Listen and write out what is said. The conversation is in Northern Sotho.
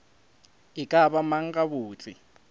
e ka ba mang gabotse